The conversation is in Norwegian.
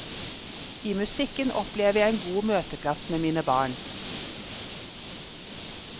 I musikken opplever jeg en god møteplass med mine barn.